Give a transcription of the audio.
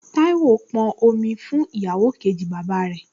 Táíwò pọn omi fún ìyàwó kejì bàbá rẹ̀